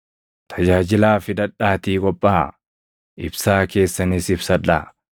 “Tajaajilaaf hidhadhaatii qophaaʼaa; ibsaa keessanis ibsadhaa;